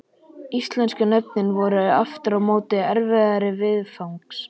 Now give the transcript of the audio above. Íslensku nöfnin voru aftur á móti erfiðari viðfangs.